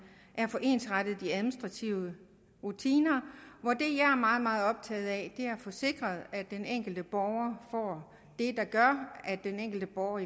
af at få ensrettet de administrative rutiner hvor det jeg er meget meget optaget af er at få sikret at den enkelte borger får det der gør at den enkelte borger